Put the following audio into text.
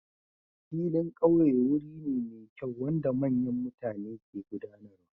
Filin ƙauye wuri ne mai kyau wanda manyan mutane ke gudanarwa.